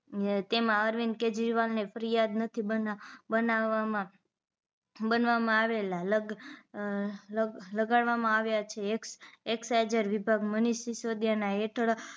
અને તેમાં અરવિંદ કેજરીવાલને ફરીયાદ નથી બના બનાવામાં બનવામાં આવેલા લગ લગ લગાડવામાં આવે છે એક્સાઈજર વિભાગ મનિષ શીસોદીયા હેઠળ